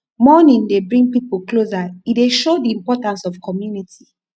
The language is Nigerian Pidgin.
mourning dey bring pipo closer e dey show the importance of community